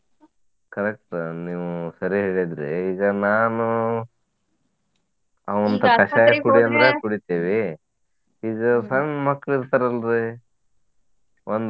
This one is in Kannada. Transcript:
Correct ನೀವು ಸರಿ ಹೇಳಿದ್ರೀ. ಈಗ ನಾನು ಕುಡಿತಿವಿ. ಸಣ್ಣ್ ಮಕ್ಳ್ ಇರ್ತರಲ್ರಿ ಒಂದ?